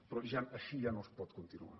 però així ja no es pot continuar